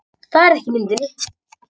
Það er ekki í myndinni